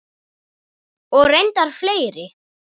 Og reyndar fleiri.